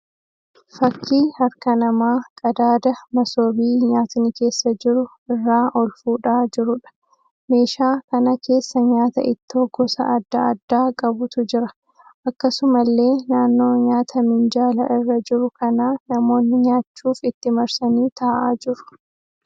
Fakkii harka namaa qadaada masoobii nyaatni keessa jiru irraa ol fuudhaa jiruudha. Meeshaa kana keessa nyaata ittoo gosa adda addaa qabutu jira. Akkasumallee naannoo nyaata minjaala irra jiruu kanaa namoonni nyaachuuf itti marsanii taa'aa jiru.